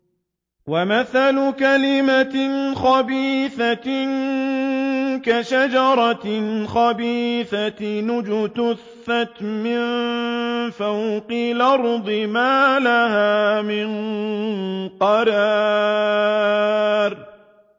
وَمَثَلُ كَلِمَةٍ خَبِيثَةٍ كَشَجَرَةٍ خَبِيثَةٍ اجْتُثَّتْ مِن فَوْقِ الْأَرْضِ مَا لَهَا مِن قَرَارٍ